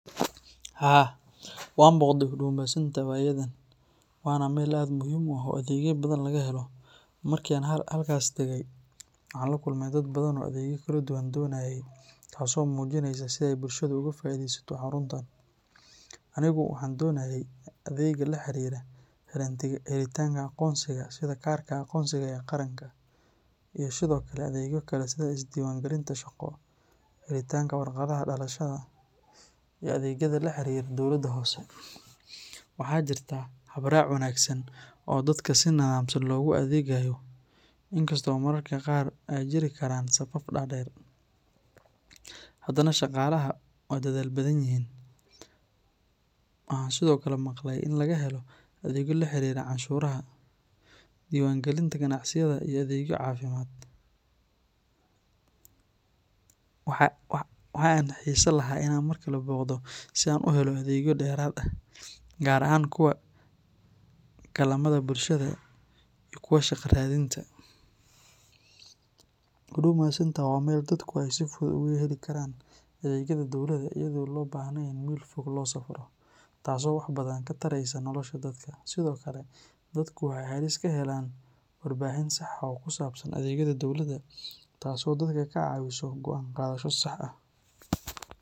Haa, waan booqday Huduma Centre waayadan, waana meel aad u muhiim ah oo adeegyo badan laga helo. Markii aan halkaas tegay, waxaan la kulmay dad badan oo adeegyo kala duwan doonayay, taas oo muujinaysa sida ay bulshada uga faa’iidaysato xaruntaan. Anigu waxaan ka doonayay adeegyada la xiriira helitaanka aqoonsiga sida kaarka aqoonsiga ee qaranka, iyo sidoo kale adeegyo kale sida is-diiwaangelinta shaqo, helitaanka warqadaha dhalashada, iyo adeegyada la xiriira dowladda hoose. Waxaa jirta hab-raac wanaagsan oo dadka si nidaamsan loogu adeegayo, inkastoo mararka qaar ay jiri karaan safaf dhaadheer, haddana shaqaalaha waa dadaal badan yihiin. Waxaan sidoo kale maqalay in laga helo adeegyo la xiriira canshuuraha, diiwaangelinta ganacsiyada, iyo adeegyo caafimaad. Waxa aan xiisayn lahaa inaan mar kale booqdo si aan u helo adeegyo dheeraad ah, gaar ahaan kuwa kaalmada bulshada iyo kuwa shaqo raadinta. Huduma Centre waa meel dadku ay si fudud ugu heli karaan adeegyada dowladda iyadoo aan loo baahnayn in meel fog loo safro, taasoo wax badan ka taraysa nolosha dadka. Sidoo kale, dadku waxay halkaas ka helaan warbixin sax ah oo ku saabsan adeegyada dowladda taas oo dadka ka caawisa go’aan qaadasho sax ah.